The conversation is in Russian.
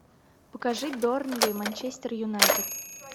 покажи бернли манчестер юнайтед